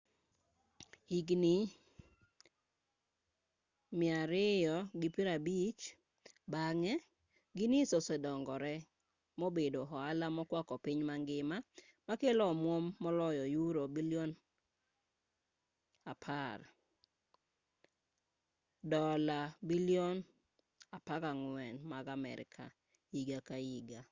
higni 250 bang'e guinness osedongore mobedo ohala mokwako piny mangima makelo omwom maloyo yuro bilion 10 dola bilion $14.7 mag amerka higa ka higa